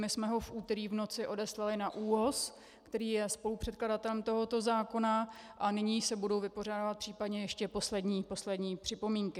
My jsme ho v úterý v noci odeslali na ÚHOS, který je spolupředkladatelem tohoto zákona, a nyní se budou vypořádávat případně ještě poslední připomínky.